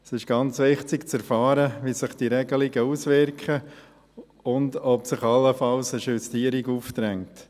Es ist ganz wichtig, zu erfahren, wie sich diese Regelungen auswirken und ob sich allenfalls eine Justierung aufdrängt.